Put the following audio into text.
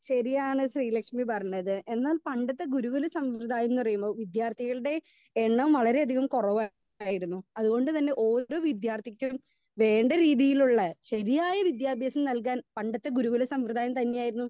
speaker 2 ശരിയാണ് ശ്രീലക്ഷ്മി പറഞ്ഞത് എന്നാൽ പണ്ടത്തെ ഗുരു ഗുല സംവിദായം ന്ന് പറീണത് വിദ്യാർത്ഥികളുടെ എണ്ണം വളരെ അധികം കുറവാ ആയിരുന്നു അതുകൊണ്ട് തന്നെ ഓരോ വിദ്യാർത്ഥിക്കും വേണ്ട രീതിയിലുള്ള ശരിയായ വിദ്യാഭ്യാസം നൽകാൻ പണ്ടത്തെ ഗുരു ഗുല സംവൃധായം തന്നെയായിരുന്നു